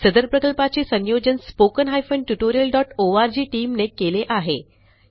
सदर प्रकल्पाचे संयोजन spoken tutorialओआरजी टीम ने केले आहे